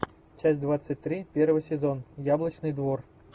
часть двадцать три первый сезон яблочный двор